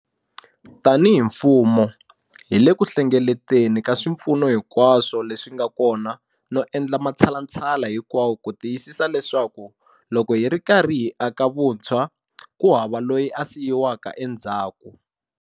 Tanihi mfumo, hi le ku hlengeleteni ka swipfuno hinkwaswo leswi nga kona no endla matshalatshala hinkwawo ku tiyisisa leswaku loko hi ri karhi hi aka hi vutshwa, ku hava loyi a siyiwaka endzhaku.